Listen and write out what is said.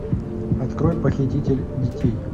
открой похититель детей